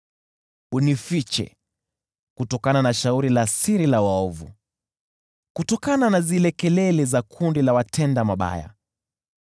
Unifiche kutokana na shauri la siri la waovu, kutokana na zile kelele za kundi la watenda mabaya.